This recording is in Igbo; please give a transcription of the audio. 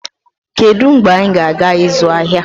Kedu mgbe anyị ga-aga ịzụ ahịa?